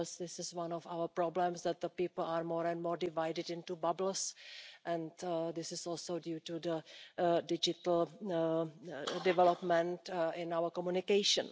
This is one of our problems, that people are more and more divided into bubbles, and this is also due to the digital development in our communication.